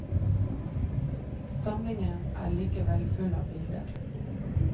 Samlingen er likevel full av bilder.